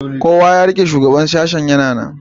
kowa ya rike shugaban sashen yana nan